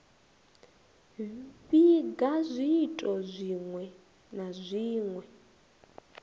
vhiga zwiito zwinwe na zwinwe